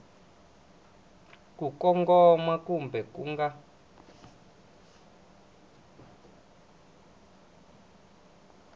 ku kongoma kumbe ku nga